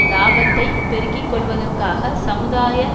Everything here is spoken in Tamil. இலாபத்தைப் பெருக்கி கொள்வதற்காக சமுதாய